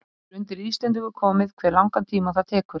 Það er undir Íslendingum komið hve langan tíma það tekur.